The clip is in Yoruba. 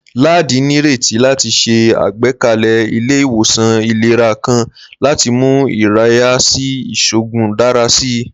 Ladi nireti lati ṣe agbekalẹ ile-iwosan ilera kan lati mu iraye si iṣoogun dara si.